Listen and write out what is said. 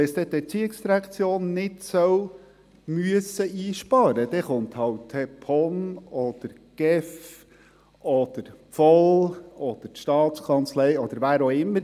Wenn es nicht die ERZ einsparen müssen soll, wird es halt die POM sein oder die GEF oder die VOL oder die Staatskanzlei, oder wer auch immer.